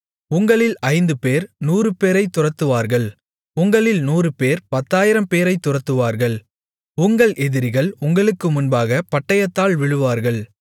உங்களில் ஐந்துபேர் நூறுபேரைத் துரத்துவார்கள் உங்களில் நூறுபேர் பத்தாயிரம்பேரைத் துரத்துவார்கள் உங்கள் எதிரிகள் உங்களுக்கு முன்பாகப் பட்டயத்தால் விழுவார்கள்